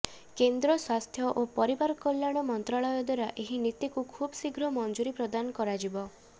କେନ୍ଦ୍ର ସ୍ବାସ୍ଥ୍ୟ ଓ ପରିବାର କଲ୍ୟାଣ ମନ୍ତ୍ରାଳୟ ଦ୍ବାରା ଏହି ନୀତିକୁ ଖୁବ୍ ଶୀଘ୍ର ମଂଜୁରି ପ୍ରଦାନ କରାଯିବ